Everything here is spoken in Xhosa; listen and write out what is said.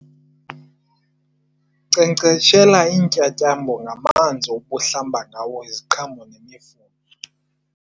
Nkcenkceshela iintyatyambo ngamanzi obuhlamba ngawo iziqhamo nemifuno.